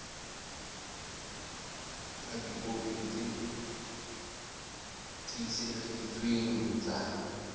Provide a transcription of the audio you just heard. ka dikopi tse tiiseleditsweng tsa